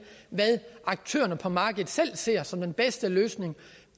hvad aktørerne på markedet selv ser som den bedste løsning